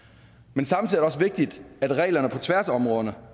men samtidig også vigtigt at reglerne på tværs af områderne